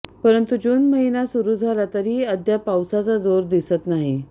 परंतु जून महिना सुरू झाला तरीही अद्याप पाऊसाचा जोर दिसत नाही